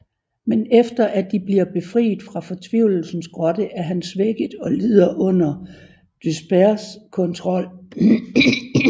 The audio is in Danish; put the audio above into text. Men efter at de bliver befriet fra Fortvivlelsens grotte er han svækket og lider under Dyspears kontrol